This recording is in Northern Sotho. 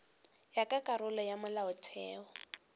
ya ka karolo ya molaotheo